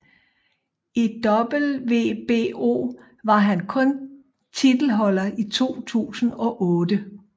I WBO var han kun titelholder i 2008